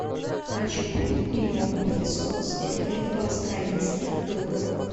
хочу купить миллион песо сколько это в австралийских долларах